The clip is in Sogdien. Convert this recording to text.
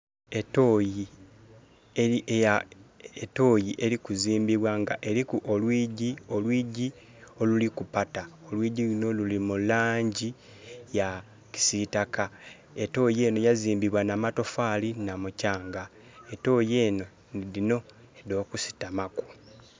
Etoyi eri ku zimbibwa nga eriku olwigi oluliku patta, olwigi lunho luli mu langi eya kisitaka. Etoyi enho yazimbibwa na matofali nha mukyanga, etoyi enho nhi dhino edho kusutamaku.